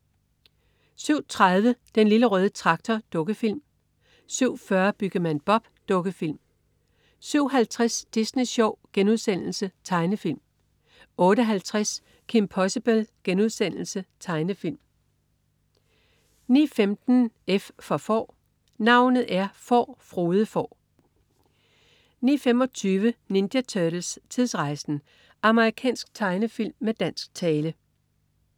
07.30 Den Lille Røde Traktor. Dukkefilm 07.40 Byggemand Bob. Dukkefilm 07.50 Disney Sjov.* Tegnefilm 08.50 Kim Possible.* Tegnefilm 09.15 F for Får. Navnet er Får, Frode Får 09.25 Ninja Turtles: Tidsrejsen! Amerikansk tegnefilm med dansk tale